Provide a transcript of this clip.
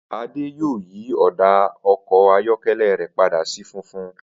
Adé yóò yí ò̩dà o̩kò̩ ayó̩ké̩lé̩ rè̩ pada sí funfun